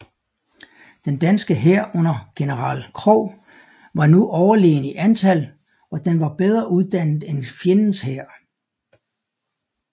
Den danske hær under general Krogh var nu overlegen i antal og den var bedre uddannet end fjendens hær